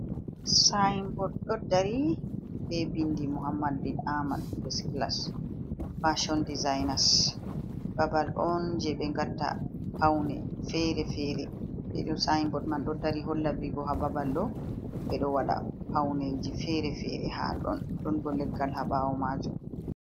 Sayinbod ɗo dari be bindi muhammad bin aman besclas fashion designers babal on je ɓe ngatta paune fere-fere b syinbod man ɗo dari holla viugo ha babal ɗo ɓe ɗo wada pauneji fere-fere, ha ɗon ɗon bo leggal habawo majum.